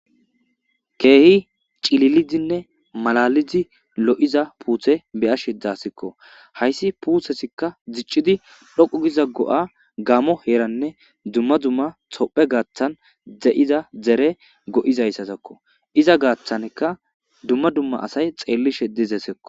keehi cililidinne malalizi lo7iza puuthe beyashe dzaasikko hayssi puuthesikka dziccidi dhoqu giza go7a gaamo heeranne dumma dumma tophe gaaththan dze7iza dzere go7izayssatakko iza gaaththanka dumma dumma asay xeellishe dizesekko